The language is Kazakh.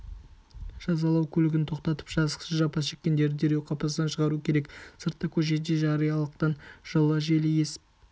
жазалау көлігін тоқтатып жазықсыз жапа шеккендерді дереу қапастан шығару керек сыртта көшеде жариялылықтың жылы желі есіп